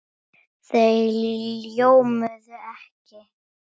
Þau ljómuðu ekki.